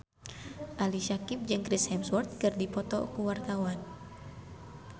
Ali Syakieb jeung Chris Hemsworth keur dipoto ku wartawan